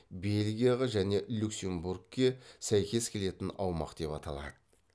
бельгияға және люксембургке сәйкес келетін аумақ деп аталады